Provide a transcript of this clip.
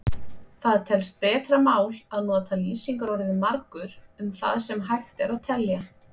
Það telst betra mál að nota lýsingarorðið margur um það sem hægt er að telja.